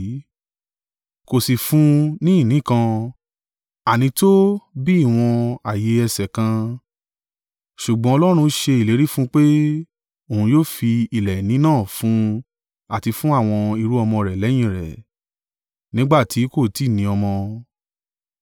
Kò sí fún un ni ìní kan, ànító bi ìwọ̀n ààyè ẹsẹ̀ kan. Ṣùgbọ́n Ọlọ́run ṣe ìlérí fún pé, òun yóò fi ilẹ̀ ìní náà fún un àti fún àwọn irú-ọmọ rẹ̀ lẹ́yìn rẹ̀, nígbà tí kò tí ì ní ọmọ.